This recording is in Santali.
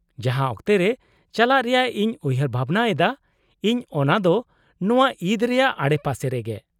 -ᱡᱟᱦᱟᱸ ᱚᱠᱛᱮ ᱨᱮ ᱪᱟᱞᱟᱜ ᱨᱮᱭᱟᱜ ᱤᱧ ᱩᱭᱦᱟᱹᱨ ᱵᱷᱟᱵᱱᱟᱭᱮᱫᱟ ᱤᱧ ᱚᱱᱟ ᱫᱚ ᱱᱚᱶᱟ ᱤᱫ ᱨᱮᱭᱟᱜ ᱟᱰᱮᱯᱟᱥᱮ ᱨᱮᱜᱮ ᱾